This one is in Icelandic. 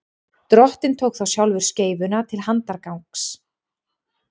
drottinn tók þá sjálfur skeifuna til handargagns